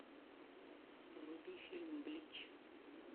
вруби фильм блич